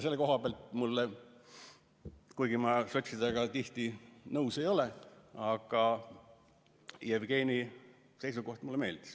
Selle koha pealt, kuigi ma sotsidega tihti nõus ei ole, mulle Jevgeni seisukoht meeldis.